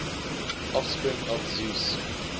offspring of zeus